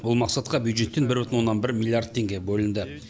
бұл мақсатқа бюджеттен бір бүтін оннан бір миллиард теңге бөлінді